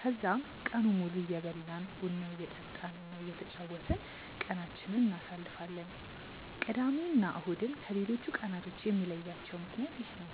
ከዛም ቀኑን ሙሉ እየበላን፣ ቡና እየጠጣን እና እየተጫወትን ቀናችንን እናሳልፋለን። ቅዳሜ እና እሁድን ከሌሎቹ ቀናቶች የሚለያቸው ምክንያት ይህ ነው።